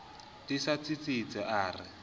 di sa tsitsitse a re